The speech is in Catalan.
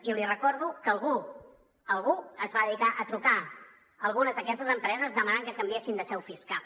i li recordo que algú algú es va dedicar a trucar algunes d’aquestes empreses demanant que canviessin de seu fiscal